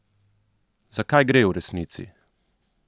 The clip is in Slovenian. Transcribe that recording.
Za kaj gre v resnici?